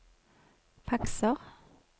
fakser